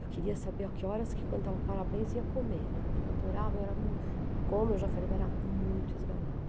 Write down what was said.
Eu queria saber a que horas, que cantava o parabéns, ia comer, né, porque eu adorava, eu era mui, como eu já falei, eu era muito esganada.